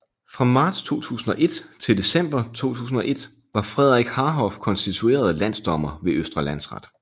Fra marts 2001 til december 2001 var Frederik Harhoff konstitueret landsdommer ved Østre Landsret